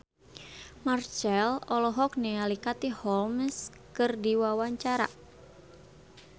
Marchell olohok ningali Katie Holmes keur diwawancara